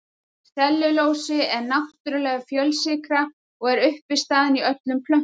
Sellulósi er náttúrleg fjölsykra og er uppistaðan í öllum plöntum.